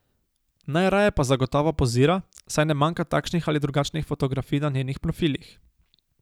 Najraje pa zagotovo pozira, saj ne manjka takšnih ali drugačnih fotografij na njenih profilih.